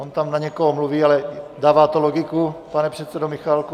On tam na někoho mluví, ale dává to logiku, pane předsedo Michálku.